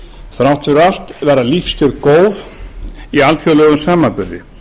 þrátt fyrir allt verða lífskjör góð í alþjóðlegum samanburði